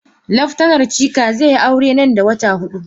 Laftanar Chika zai yi aure nan da wata hudu.